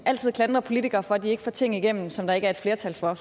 altid klandre politikere for at de ikke får ting igennem som der ikke er et flertal for